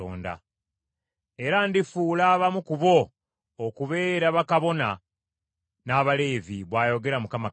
Era ndifuula abamu ku bo okubeera bakabona n’abaleevi,” bw’ayogera Mukama Katonda.